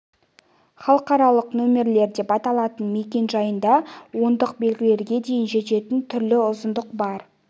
халықаралық нөмірлер деп аталатын мекен-жайында ондық белгілерге дейін жететін түрлі ұзындық бар